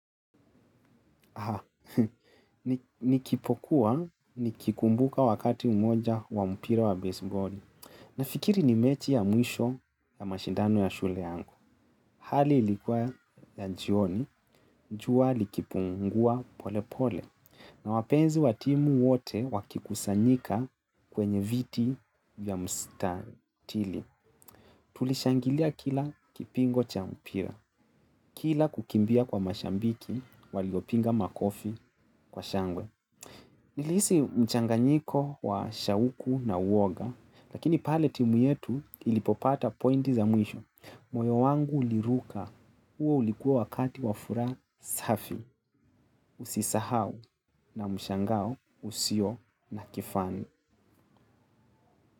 Haa, nikipokuwa, nikikumbuka wakati umoja wa mpira wa baseball. Nafikiri ni mechi ya mwisho ya mashindano ya shule yangu. Hali ilikuwa ya njioni, njua likipungua pole pole. Na wapenzi watimu wote wakikusanyika kwenye viti vya mstariri. Tulishangilia kila kipingo cha mpira. Kila kukimbia kwa mashambiki, waliopinga makofi kwa shangwe. Nilisi mchanganyiko wa shawuku na uoga, lakini paletimu yetu ilipopata pointi za mwisho. Moyo wangu uliruka. Uo ulikuwa wakati wafuraha safi. Usisahau na mshangao usio na kifani.